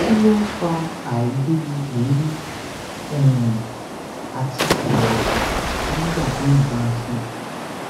kí ló ń fa àìrí ẹmí um àti ìrẹwẹsì nígbà téèyàn bá ń sùn